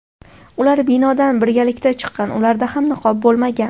Ular binodan birgalikda chiqqan, ularda ham niqob bo‘lmagan.